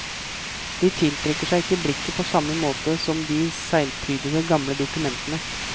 De tiltrekker seg ikke blikket på samme måte som de seglprydede gamle dokumentene.